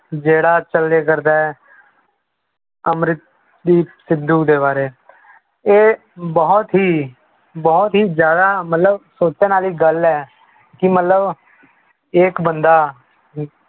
ਜਿਹੜਾ ਚੱਲਿਆ ਕਰਦਾ ਹੈ ਅਮਰਦੀਪ ਸਿੱਧੂ ਦੇ ਬਾਰੇ ਇਹ ਬਹੁਤ ਹੀ ਬਹੁਤ ਹੀ ਜ਼ਿਆਦਾ ਮਤਲਬ ਸੋਚਣ ਵਾਲੀ ਗੱਲ ਹੈ ਕਿ ਮਤਲਬ ਇੱਕ ਬੰਦਾ